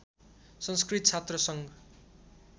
संस्कृत छात्र सङ्घ